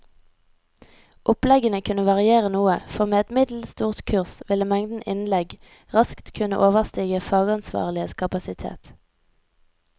Oppleggene kunne variere noe, for med et middels stort kurs ville mengden innlegg raskt kunne overstige fagansvarliges kapasitet.